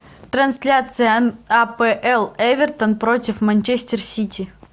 трансляция апл эвертон против манчестер сити